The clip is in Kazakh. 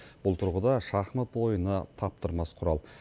бұл тұрғыда шахмат ойыны таптырмас құрал